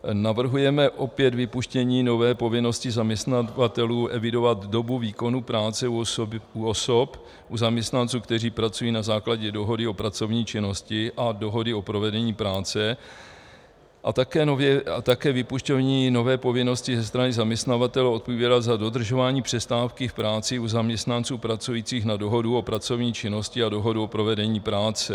Navrhujeme opět vypuštění nové povinnosti zaměstnavatelů evidovat dobu výkonu práce u osob, u zaměstnanců, kteří pracují na základě dohody o pracovní činnosti a dohody o provedení práce, a také vypuštění nové povinnosti ze strany zaměstnavatele odpovídat za dodržování přestávky v práci u zaměstnanců pracujících na dohodu o pracovní činnosti a dohodu o provedení práce.